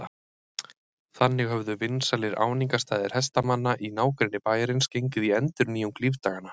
Þannig höfðu vinsælir áningarstaðir hestamanna í nágrenni bæjarins gengið í endurnýjung lífdaganna.